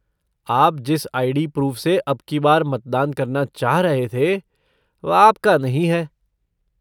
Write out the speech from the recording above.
आप जिस ID. Proof से अब की बार मतदान करना चाह रहे थे, वह आपका नहीं है।